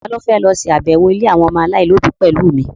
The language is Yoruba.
Ta ló fẹ́ lọ ṣàbẹ̀wọ̀ ilé àwọn ọmọ aláìlóbi pẹ̀lú mi?